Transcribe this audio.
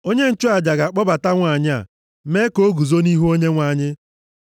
“ ‘Onye nchụaja ga-akpọbata nwanyị a mee ka o guzo nʼihu Onyenwe anyị.